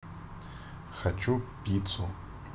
хочу пиццу